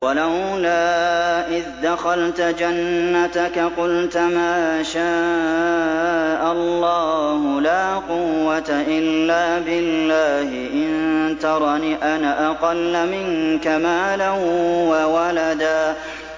وَلَوْلَا إِذْ دَخَلْتَ جَنَّتَكَ قُلْتَ مَا شَاءَ اللَّهُ لَا قُوَّةَ إِلَّا بِاللَّهِ ۚ إِن تَرَنِ أَنَا أَقَلَّ مِنكَ مَالًا وَوَلَدًا